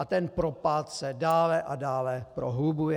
A ten propad se dále a dále prohlubuje.